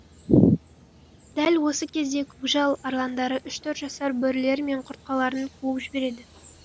дәл осы кезде көкжал арландары үш төрт жасар бөрілері мен құртқаларын қуып жібереді